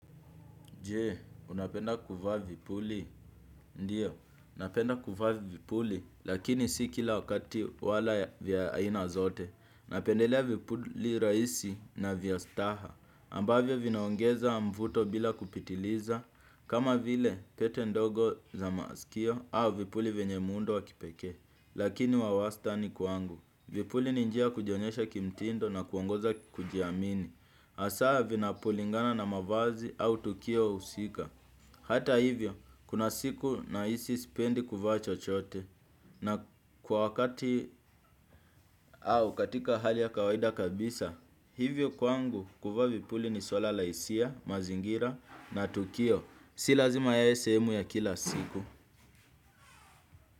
Jee, unapenda kuvaa vipuli? Ndio, napenda kuvaa vipuli lakini si kila wakati wala vya aina zote. Napendelea vipuli rahisi na vya staha, ambavyo vinaongeza mvuto bila kupitiliza, kama vile pete ndogo za maskio au vipuli venye muundo wa kipekee, lakini wa wastani kwangu. Vipuli ni njia ya kujionyesha kimtindo na kuongoza kujiamini. Hasaa vinapolingana na mavazi au tukio husika. Hata hivyo, kuna siku nahisi sipendi kuvaa chochote. Na kwa wakati au katika hali ya kawaida kabisa. Hivyo kwangu kuvaa vipuli ni swala la hisia, mazingira na tukio. Si lazima yawe sehemu ya kila siku.